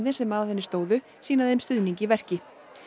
sem að henni stóðu sýna þeim stuðning í verki